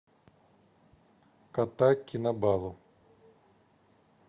кота кинабалу